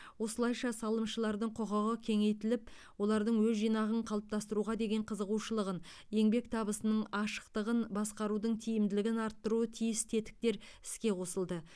осылайша салымшылардың құқығы кеңейтіліп олардың өз жинағын қалыптастыруға деген қызығушылығын еңбек табысының ашықтығын басқарудың тиімділігін арттыруы тиіс тетіктер іске қосылды